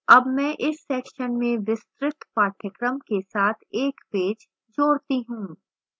add मैं इस section में विस्तृत पाठ्यक्रम के साथ एक पेज जोड़ती हूँ